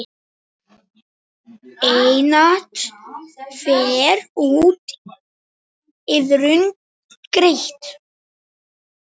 Einatt fer úr iðrum greitt.